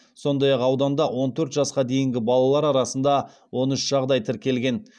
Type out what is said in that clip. сондай ақ ауданда он төрт жасқа дейінгі балалар арасында он үш жағдай тіркелген